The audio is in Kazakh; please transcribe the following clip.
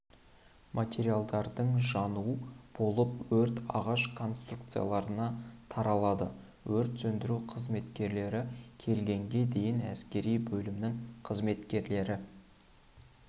материалдардың жануы болып өрт ағаш конструкцияларына таралды өрт сөндіру қызметкерлері келгенге дейін әскери бөлімнің қызметкерлері